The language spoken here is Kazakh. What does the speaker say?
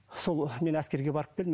сол мен әскерге барып келдім